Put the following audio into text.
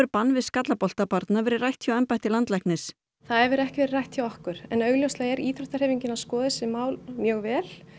bann við skallabolta barna verið rætt hjá embætti landlæknis það hefur ekki verið rætt hjá okkur en augljóslega er íþróttahreyfingin að skoða þessi mál mjög vel